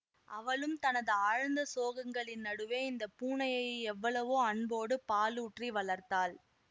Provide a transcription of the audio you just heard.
அவளும் தனது ஆழ்ந்த சோகங்களின் நடுவே இந்த பூனையை எவ்வளவோ அன்போடு பாலூற்றி வளர்த்தாள்